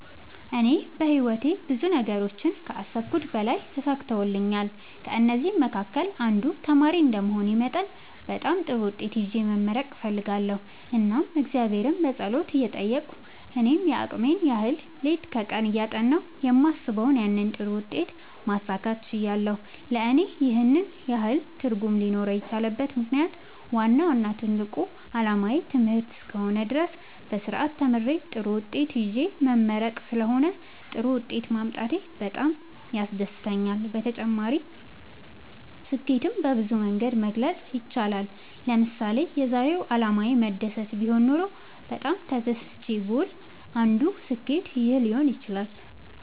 እኔ በህይወቴ ብዙ ነገሮችን ከአሰብሁት በላይ ተሳክተውልኛል ከእነዚህም መካከል አንዱ ተማሪ እንደመሆኔ መጠን በጣም ጥሩ ውጤት ይዤ መመረቅ እፈልጋለሁ እናም እግዚአብሔርን በጸሎት እየጠየቅሁ እኔም የአቅሜን ያህል ሌት ከቀን እያጠናሁ የማስበውን ያንን ጥሩ ውጤት ማሳካት ችያለሁ ለእኔ ይህን ያህል ትርጉም ሊኖረው የቻለበት ምክንያት ዋናው እና ትልቁ አላማዬ ትምህርት እስከ ሆነ ድረስ በስርአት ተምሬ ጥሩ ውጤት ይዤ መመረቅ ስለሆነ ጥሩ ውጤት ማምጣቴ በጣም ያስደስተኛል። በተጨማሪ ስኬትን በብዙ መንገድ መግለፅ ይቻላል ለምሳሌ የዛሬው አላማዬ መደሰት ቢሆን ኖሮ በጣም ተደስቼ ብውል አንዱ ስኬት ይህ ሊሆን ይችላል